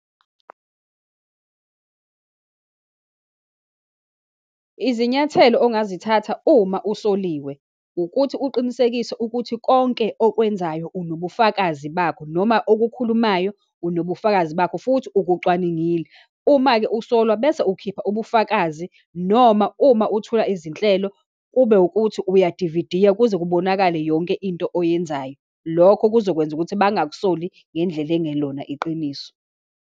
Izinyathelo ongazithatha uma usoliwe, ukuthi uqinisekise ukuthi konke okwenzayo unobufakazi bakho, noma okukhulumayo unobufakazi bakho, futhi ukucwaningile. Uma-ke usolwa, bese ukhipha ubufakazi, noma uma uthula izinhlelo kube ukuthi uya dividiya, kuze kubonakale yonke into oyenzayo. Lokho kuzokwenza ukuthi bangakusoli ngendlela engelona iqiniso.